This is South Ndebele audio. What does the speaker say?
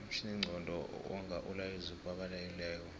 umtjhininqondo wonga umlayezu obalekilelo